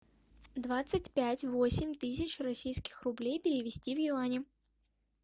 двадцать пять восемь тысяч российских рублей перевести в юани